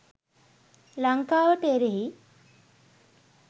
ලංකාවට එරෙහි?